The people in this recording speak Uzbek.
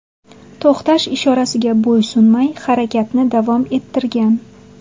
to‘xtash ishorasiga bo‘ysunmay, harakatni davom ettirgan.